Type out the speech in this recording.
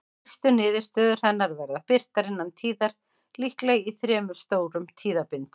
Fyrstu niðurstöður hennar verða birtar innan tíðar, líklega í þremur stórum tíðabindum.